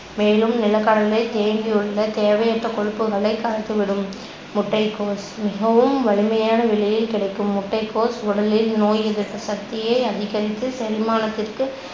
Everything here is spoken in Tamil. மேலும் நிலக்கடலை தேங்கியுள்ள தேவையற்ற கொழுப்புகளைக் கரைத்துவிடும். முட்டைகோஸ் மிகவும் விலையில் கிடைக்கும் முட்டைகோஸ் உடலில் நோய் எதிர்ப்பு சக்தியை அதிகரித்து செரிமானத்திற்கு